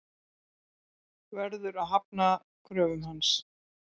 Verður að hafna kröfum hans.